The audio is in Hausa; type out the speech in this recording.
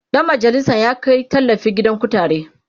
Dan majalisan ya Kai tallafi gidan kutare